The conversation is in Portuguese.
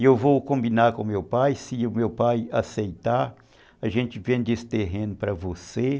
E eu vou combinar com o meu pai, se o meu pai aceitar, a gente vende esse terreno para você.